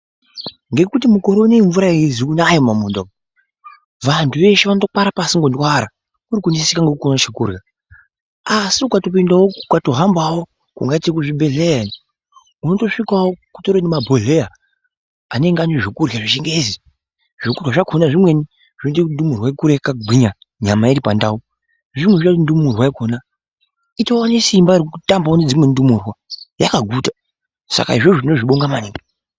Ngekuti mukore unewu mvura aizi kunaya mumundau umu, vantu veshe vanotokwara pasi ngondwara, kuri kuneseka ngekuone chokurya. Asi ukatopindawo ukatohambawo zvakadai ngekuchibhedhleya iyo, unotosvikawo kutori nemabhodhleya anenge ane zvekurya zvechingezi, zvokurya zvakhona zvimweni zvinoita kuti ndumurwa ikure yakagwinya nyama iri pandau. Zvimweni zvinoita kuti ndumurwa yakhona itowane simba rekutambawo nedzimweni ndumurwa yakaguta, saka izvozvo tinozvibonga maningi .